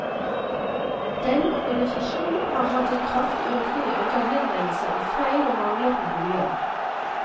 Denne organisasjonen har hatt en kraftig økning i antall henvendelser om feil og mangler på boliger.